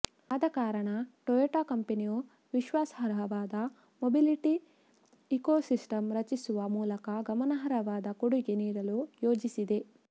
ಆದ ಕಾರಣ ಟೊಯೊಟಾ ಕಂಪನಿಯು ವಿಶ್ವಾಸಾರ್ಹವಾದ ಮೊಬಿಲಿಟಿ ಇಕೊಸಿಸ್ಟಂ ರಚಿಸುವ ಮೂಲಕ ಗಮನಾರ್ಹವಾದ ಕೊಡುಗೆ ನೀಡಲು ಯೋಜಿಸಿದೆ